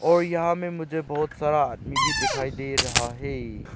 और यहां में मुझे बहोत सारा आदमी भी दिखाई दे रहा है।